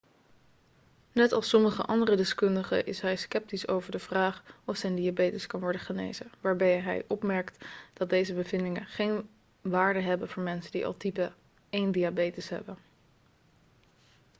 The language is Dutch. net als sommige andere deskundigen is hij sceptisch over de vraag of zijn diabetes kan worden genezen waarbij hij opmerkt dat deze bevindingen geen waarde hebben voor mensen die al type 1-diabetes hebben